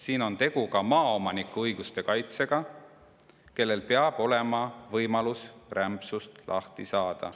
Siin on tegu ka maaomaniku õiguste kaitsega, kellel peab olema võimalus rämpsust lahti saada.